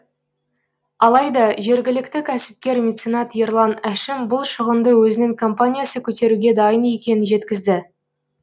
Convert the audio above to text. алайда жергілікті кәсіпкер меценат ерлан әшім бұл шығынды өзінің компаниясы көтеруге дайын екенін жеткізді